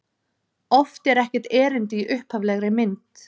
Oft er ekkert erindi í upphaflegri mynd.